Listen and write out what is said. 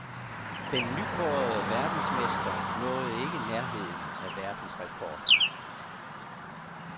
Den nykårede verdensmester nåede ikke nærheden af verdensrekorden.